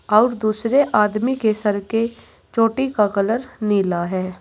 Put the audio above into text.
और दूसरे आदमी के सर के चोटी का कलर नीला है।